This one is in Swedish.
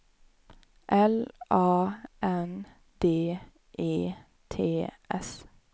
L A N D E T S